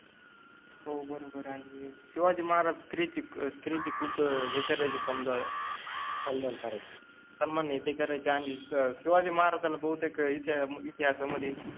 हो बरोबर आहे, शिवाजी महाराज स्त्रि चि अ स्त्रि चि खुप हे करायचे समजा, सन्मान करायचे, सन्मान हे ते करायचे आणि शिवाजि महाराजाला बहुतेक इति इतिहासामधि